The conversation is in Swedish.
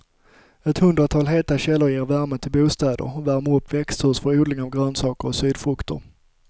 Ett hundratal heta källor ger värme till bostäder och värmer upp växthus för odling av grönsaker och sydfrukter.